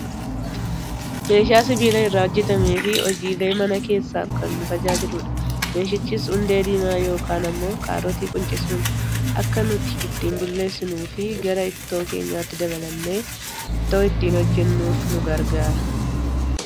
Meeshaa sibiila irraa hojjatameefi hojiilee mana keessaaf kan nu tajaajiludha. Meeshichis hundee diimaa yookaan ammoo kaarotii quncisuun akka nuti ittiin bulleessuun fi gara ittoo keenyaatti dabalannee ittoo ittiin hojjannuuf nu gargaara.